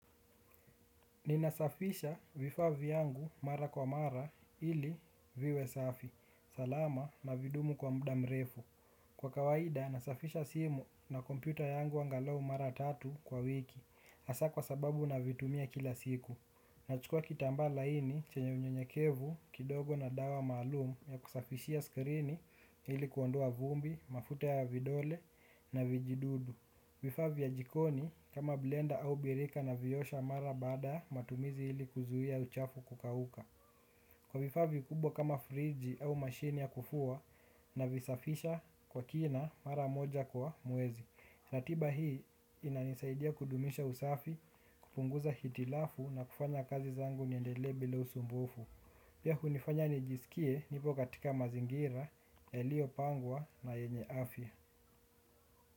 Ninasafisha vifaa vyangu mara kwa mara ili viwe safi. Salama na vidumu kwa muda mrefu. Kwa kawaida nasafisha simu na kompyuta yangu angalau mara tatu kwa wiki. Hasa kwa sababu navitumia kila siku. Nachukua kitambaa laini chenye unyenyekevu kidogo na dawa malumu ya kusafishia skrini ili kuondoa vumbi, mafuta ya vidole na vijidudu. Vifaa vya jikoni kama blender au birika naviosha mara baada matumizi ili kuzuia uchafu kukauka. Kwa vifaa vikubwa kama friji au mashini ya kufua navisafisha kwa kina mara moja kwa mwezi. Na tiba hii inanisaidia kudumisha usafi, kupunguza hitilafu na kufanya kazi zangu niendelee bila usumbufu. Pia hunifanya nijisikie nipo katika mazingira, yaliyopangwa na yenye afya.